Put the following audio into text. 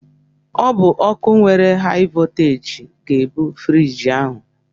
Ọ bụ ọkụ nwere haị vọlteeji ga-ebu friiji ahụ.